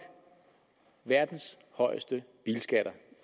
verdens højeste bilskatter